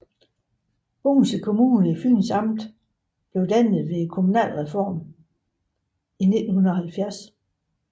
Bogense Kommune i Fyns Amt blev dannet ved kommunalreformen i 1970